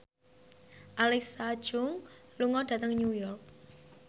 Alexa Chung lunga dhateng New York